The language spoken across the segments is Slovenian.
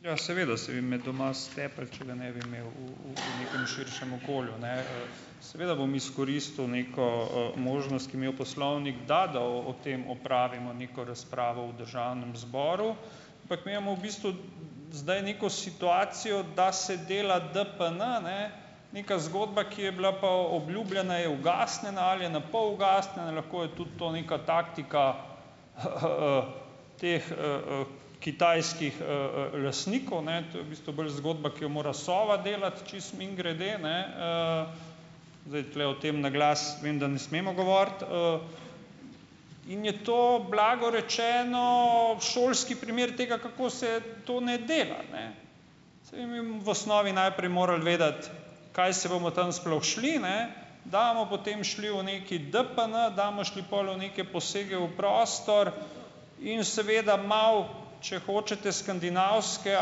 Ja, seveda, saj bi me doma stepli, če ga ne bi imel, v v v nekem širšem okolju, ne. Seveda bom izkoristil neko, možnost, ki mi jo poslovnik da, da o tem opravimo neko razpravo v državnem zboru. Ampak mi imamo v bistvu zdaj neko situacijo, da se dela DPN, ne, neka zgodba, ki je bila pa obljubljena, je ugasnjena ali je na pol ugasnjena, lahko je tudi to neka taktika h h teh, kitajskih, lastnikov, ne. To je v bistvu bolj zgodba, ki jo mora Sova delati čisto mimogrede, ne, Zdaj, tule o tem na glas vem, da ne smemo govoriti, In je to blago rečeno šolski primer tega, kako se to ne dela, ne. Saj mimo v osnovi najprej morali vedeti, kaj se bomo tam sploh šli, ne, da bomo potem šli v neki DPN, da bomo šli pol v neke posege v prostor in seveda malo, če hočete, skandinavskega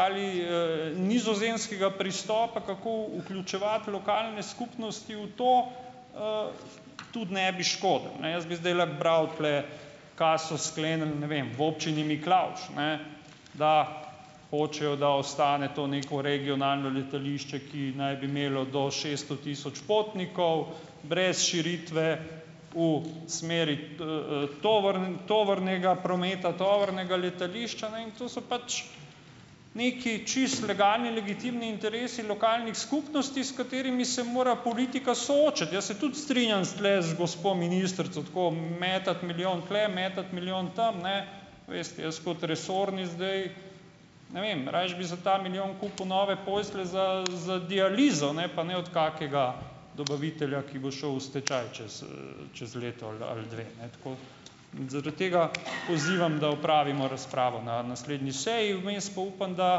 ali, nizozemskega pristopa, kako vključevati lokalne skupnosti v to, tudi ne bi škodilo, ne. Jaz bi zdajle bral tule, ka so sklenili, ne vem, v Občini Miklavž, ne, da hočejo, da ostane to neko regionalno letališče, ki naj bi imelo do šeststo tisoč potnikov brez širitve v smeri, tovornega prometa, tovornega letališča, ne. In to so pač neki čisto legalni, legitimni interesi lokalnih skupnosti, s katerimi se mora politika soočati. Jaz se tudi strinjam s tule z gospo ministrico. Tako metati milijon tule, metati milijon tam, ne, veste, jaz kot resorni, zdaj, ne vem, rajši bi za ta milijon kupil nove postelje za za dializo, ne, pa ne od kakega dobavitelja, ki bo šel v stečaj čez, čez leto ali ali dve, ne, tako. Zaradi tega pozivam, da opravimo razpravo na naslednji seji, vmes pa upam, da,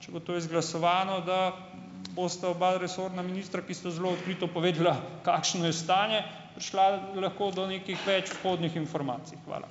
če bo to izglasovano, da bosta oba resorna ministra, ki sta zelo odkrito povedala, kakšno je stanje, prišla lahko do nekih več vhodnih informacij. Hvala.